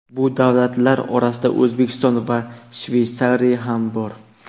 Bu davlatlar orasida O‘zbekiston va Shveysariya ham bor.